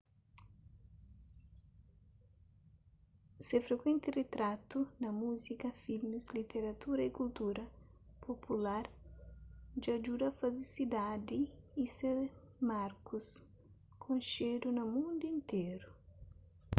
se frikuenti ritratu na múzika filmis literatura y kultura popular dja djuda faze sidadi y se markus konxedu na mundu interu